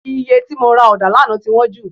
Òye tí mo ra ọ̀dà ní àná ti wọ́n jù